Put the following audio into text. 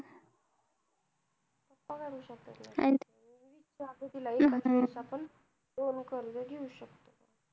pappa कडू शकतात तरी एकदा विचारतो तिला एकाचवेळेस आपण दोन कर्ज घेऊ शकतो